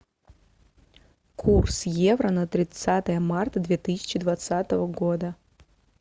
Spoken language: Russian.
курс евро на тридцатое марта две тысячи двадцатого года